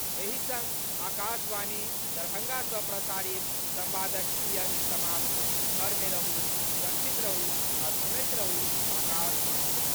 एहि संग आकाशवाणी, दरभंगा सँ प्रसारित संवादक ई अंक समाप्त घर मे रहू, सुरक्षित रहू आ सुनैत रहू आकाशवाणी।